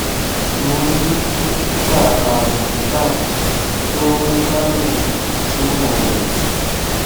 mo ni dokita arun tank tó ń dáhùn ìjùmọ rẹ